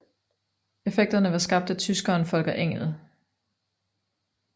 Effekterne var skabt af tyskeren Volker Engel